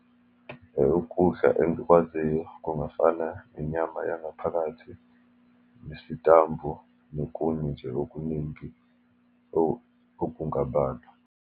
Ukudla engikwaziyo kungafani nenyama yangaphakathi, nesitambu, nokunye nje okuningi okungabalwa.